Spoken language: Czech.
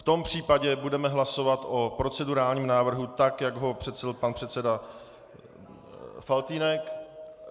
V tom případě budeme hlasovat o procedurálním návrhu tak, jak ho přednesl pan předseda Faltýnek.